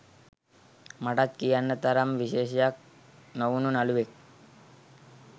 මටත් කියන්න තරම් විශේෂයක් නොවුනු නළුවෙක්